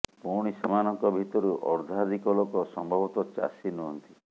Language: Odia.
ପୁଣି ସେମାନଙ୍କ ଭିତରୁ ଅର୍ଦ୍ଧାଧିକ ଲୋକ ସମ୍ଭବତଃ ଚାଷୀ ନୁହନ୍ତି